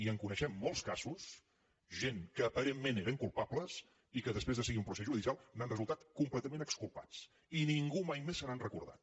i en coneixem molts casos gent que aparentment eren culpa bles i que després de seguir un procediment judicial n’han resultat completament exculpats i ningú mai més se n’ha recordat